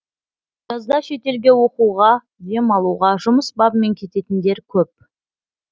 жазда шетелге оқуға дем алуға жұмыс бабымен кететіндер көп